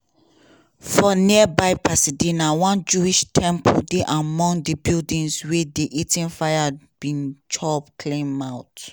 for nearby pasadena one jewish temple dey among di buildings wey di eaton fire bin chop clean mouth.